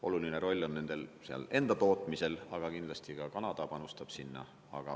Oluline roll on nendel enda tootmisel, aga kindlasti ka Kanada panustab sinna.